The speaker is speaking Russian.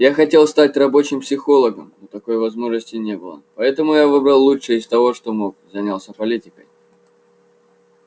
я хотел стать рабочим психологом но такой возможности не было поэтому я выбрал лучшее из того что мог занялся политикой